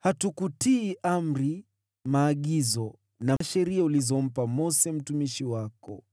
Hatukutii amri, maagizo na sheria ulizompa Mose mtumishi wako.